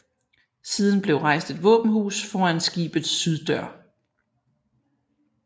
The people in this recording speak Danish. Siden blev rejst et våbenhus foran skibets syddør